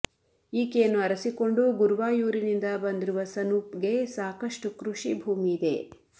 ಈಕೆಯನ್ನು ಅರಸಿಕೊಂಡು ಗುರುವಾಯೂರಿನಿಂದ ಬಂದಿರುವ ಸನೂಪ್ ಗೆ ಸಾಕಷ್ಟು ಕೃಷಿ ಭೂಮಿಯಿದೆ